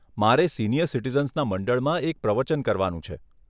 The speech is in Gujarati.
મારે સિનિયર સિટીઝન્સના મંડળમાં એક પ્રવચન કરવાનું છે.